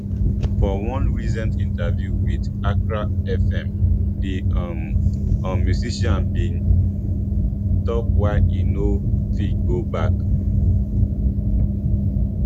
for one recent interview wit accra fm di um um musician bin tok why e no fit go back